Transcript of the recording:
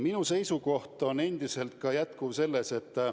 Minu seisukoht on endine ka selles.